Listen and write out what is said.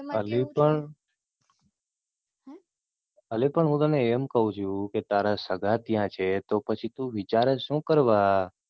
અલી પણ અલી પણ હું તે એમ કહું છુ કે તારા સગા ત્યાં છે તો પછી તું વિચારે શું કરવા.